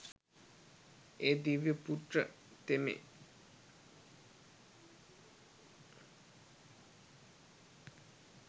ඒ දිව්‍ය පුත්‍ර තෙමේ